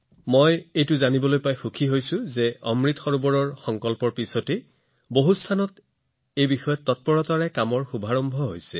অৱশ্যে মই জানি আনন্দিত হৈছো যে অমৃত সৰোবৰৰ সংকল্প গ্ৰহণ কৰাৰ পিছত বহু ঠাইত ইয়াৰ কাম দ্ৰুতগতিত আৰম্ভ হৈছে